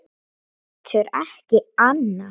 Getur ekki annað.